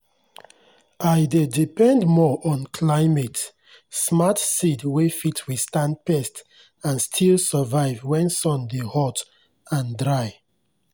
i dey depend more on climate-smart seed wey fit withstand pest and still survive when sun dey hot and dry.